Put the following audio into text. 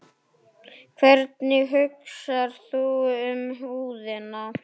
Hvernig hugsar þú um húðina?